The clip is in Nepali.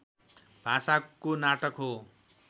भाषाको नाटक हो